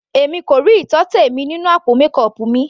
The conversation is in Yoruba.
Èmi kò rí ìtọ́tẹ̀ mi nínú àpò mékọọpù mi.